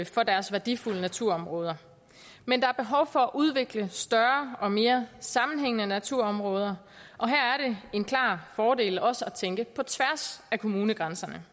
for deres værdifulde naturområder men der er behov for at udvikle større og mere sammenhængende naturområder og her er det en klar fordel også at tænke på tværs af kommunegrænserne